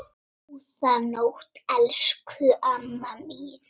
Þeir heyra nú sögunni til.